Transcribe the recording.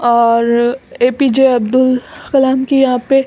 और A. P. J Abdul Kalam की यहाँ पे --